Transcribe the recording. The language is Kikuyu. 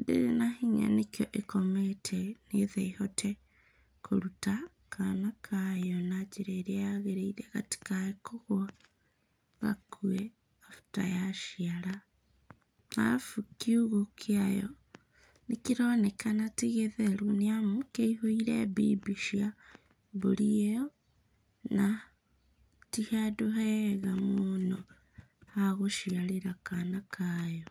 ndĩrĩ na hinya, nĩkĩo ĩkomete, nĩgetha ĩhote kũruta kana kayo na njĩra ĩrĩa yagĩrĩire gatikae kũgwa gakue after yaciara. Arabu kiugũ kĩayo, nĩkĩronekana tĩ gĩtheru, nĩamu kĩihũire mbimbi cia mbũri ĩo na ti handũ hega mũno, ha gũciarĩra kana kayo.